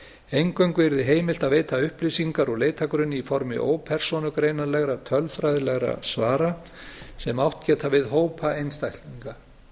eingöngu yrði heimilt að veita upplýsingar úr leitargrunni í formi ópersónugreinanlegra tölfræðilegra svara sem átt geta við hópa einstaklinga